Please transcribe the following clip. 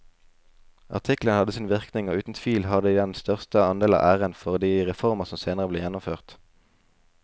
Artiklene hadde sin virkning og uten tvil har de den største andel av æren for de reformer som senere ble gjennomført.